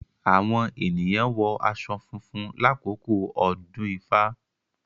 Awọn eniyan wọ aṣọ funfun lakoko odun ifa;